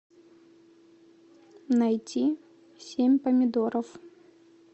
найти семь помидоров